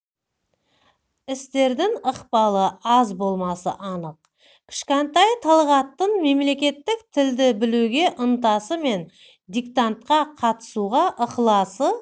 істердің ықпалы аз болмасы анық кішкентай талғаттың мемлекеттік тілді білуге ынтасы мен диктантқа қатысуға ықыласы